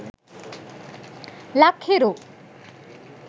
lak hiru